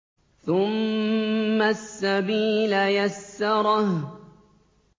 ثُمَّ السَّبِيلَ يَسَّرَهُ